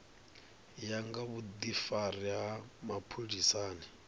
ya nga vhudifari ha mapholisani